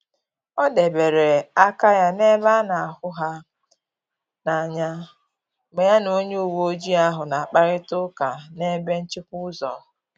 Ọ debere aka ya na-ebe a na hụ ha n’anya mgbe ya na onye uweojii ahu na-akparịta ukwa na n’ebe nchịkwa ụzọ